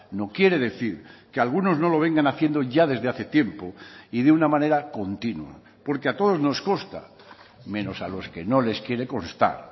no quiere decir que algunos no lo vengan haciendo ya desde hace tiempo y de una manera continua porque a todos nos consta menos a los que no les quiere constar